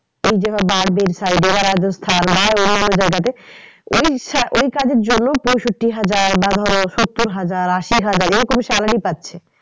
এই যারা side এ বা রাজস্থান বা অন্যান্য জায়গাতে এই এই কাজের জন্য পঁয়ষট্টি হাজার বা ধরো সত্তর হাজার আশি হাজার এরকম salary পাচ্ছে